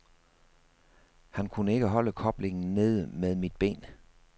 Han kunne ikke holde koblingen nede med mit ben.